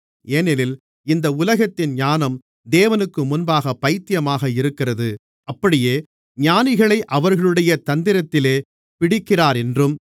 ஏனெனில் இந்த உலகத்தின் ஞானம் தேவனுக்கு முன்பாகப் பைத்தியமாக இருக்கிறது அப்படியே ஞானிகளை அவர்களுடைய தந்திரத்திலே பிடிக்கிறாரென்றும்